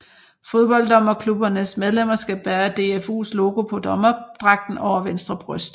Fodbolddommerklubbernes medlemmer skal bære DFUs logo på dommerdragten over venstre bryst